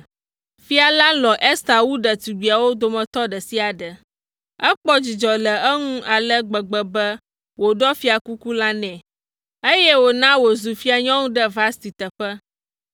Fia la lɔ̃ Ester wu ɖetugbiawo dometɔ ɖe sia ɖe. Ekpɔ dzidzɔ le eŋu ale gbegbe be wòɖɔ fiakuku la nɛ, eye wòna wòzu fianyɔnu ɖe Vasti teƒe.